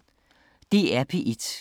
DR P1